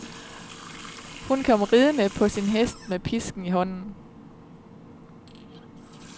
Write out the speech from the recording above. Hun kom ridende på sin hest med pisken i hånden.